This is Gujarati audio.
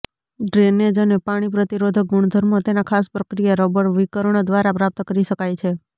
ડ્રેનેજ અને પાણી પ્રતિરોધક ગુણધર્મો તેના ખાસ પ્રક્રિયા રબર વિકર્ણ દ્વારા પ્રાપ્ત કરી શકાય છે